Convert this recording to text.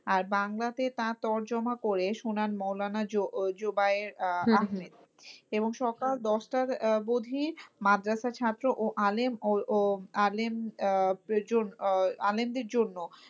আর বাংলাতে তার তর্জমা করে শোনান মৌলানা জোবায়ের আহমেদ। এবং সকাল দশটার অব্ধি মাদ্রাসা ছাত্র ও আলেম আহ আলেমদীর জন্য।